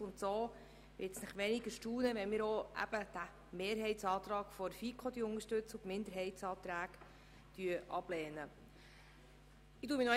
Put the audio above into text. Deshalb erstaunt es kaum, wenn wir diesen Mehrheitsantrag der FiKo unterstützen und die Minderheitsanträge ablehnen.